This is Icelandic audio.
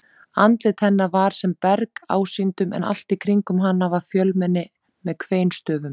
Andlit hennar var sem berg ásýndum en allt í kringum hana var fjölmenni með kveinstöfum.